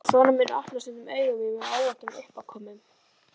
Sonur minn opnar stundum augu mín með óvæntum uppákomum.